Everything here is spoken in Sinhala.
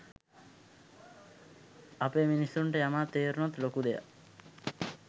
අපේ මිනිස්සුන්ට යමක් තේරුනොත් ලොකු දෙයක්